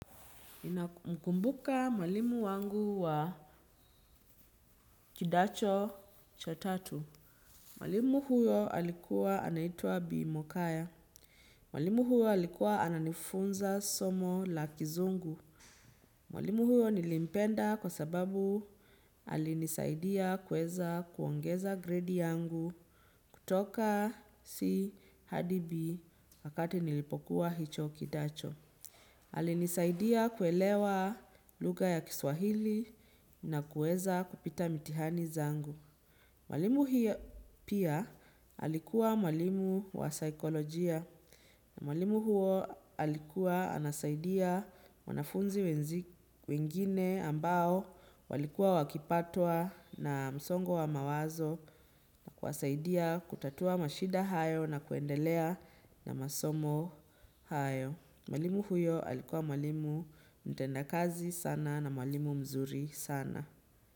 Ninamkumbuka mwalimu wangu wa kidato cha tatu. Mwalimu huyo alikuwa anaitua B. Mokaya. Mwalimu huyo alikuwa ananifunza somo la kizungu. Mwalimu huyo nilimpenda kwa sababu alinisaidia kuweza kuongeza grade yangu kutoka C. Hadi. B. Wakati nilipokuwa hicho kidato. Alinisaidia kuelewa lugha ya kiswahili na kuweza kupita mitihani zangu. Mwalimu hiyo pia alikuwa mwalimu wa saikolojia na mwalimu huo alikuwa anasaidia wanafunzi wengine ambao walikuwa wakipatwa na msongo wa mawazo na kuwasaidia kutatua mashida hayo na kuendelea na masomo hayo. Mwalimu huyo alikuwa mwalimu mtendakazi sana na mwalimu mzuri sana.